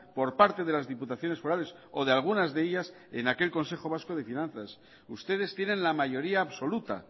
por parte de las diputaciones forales o de algunas de ellas en aquel consejo vasco de finanzas ustedes tienen la mayoría absoluta